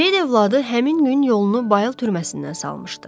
Seyid övladı həmin gün yolunu Bayıl türməsindən salmışdı.